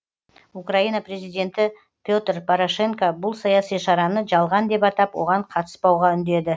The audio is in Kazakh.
украина президенті петр порошенко бұл саяси шараны жалған деп атап оған қатыспауға үндеді